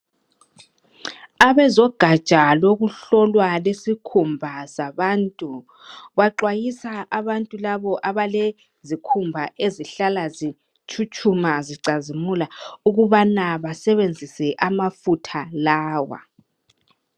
abezogatsha lokuhlolwa lwesikhumba zabantu baxwayisa abantu labo abalezikhumba ezihlala zitshutshuma zicazimula ukubana basebenzise amafutha lawa